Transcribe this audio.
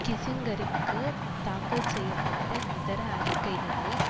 கிஸிங்கருக்கு தாக்கல் செய்ய பட்ட இதர அறிக்கைகளில்